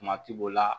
Kuma ti bo la